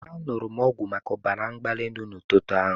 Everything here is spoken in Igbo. Aṅụrụ m ọgwụ maka ọbara mgbali elu n'ụtụtụ a.